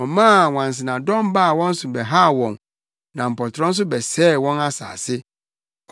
Ɔmaa nwansenadɔm baa wɔn so bɛhaw wɔn na mpɔtorɔ nso bɛsɛee wɔn asase.